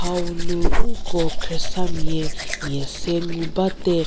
hau nu nko khriesamie mie se ngu ba de.